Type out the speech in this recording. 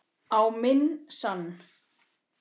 Á minn sann.!